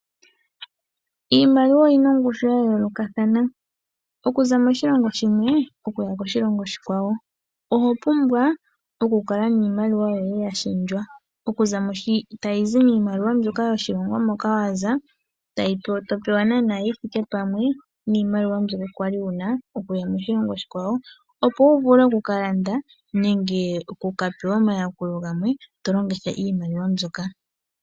Iimaliwa oyi na ongushu ya yoolokathana oku za moshilongo shimwe oku ya koshilongo oshikwawo. Oho pumbwa oku kala niimaliwa yoye ya shendjwa, oku za mwaashi tayi zi miimaliwa yoshilongo moka wa za, to pewa nana yi thike pamwe niimaliwa mbyono kwa li wu na oku ya moshilongo oshikwawo, opo wu vule oku ka landa nenge oku ka pewa omayakulo gamwe to longitha iimaliwa mbyoka.